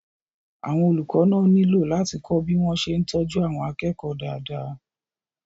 àwọn olùkọ́ náà nílò láti kọ́ bí wọ́n ṣe ń tọ́jú àwọn akẹ́kọ̀ọ́ dáadáa